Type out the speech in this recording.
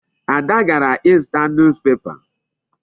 Ada gara ịzụta newspaper.